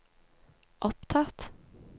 opptatt